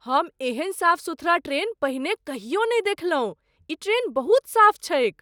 हम एहन साफ सुथरा ट्रेन पहिने कहियो नहि देखलहुँ! ई ट्रेन बहुत साफ छैक!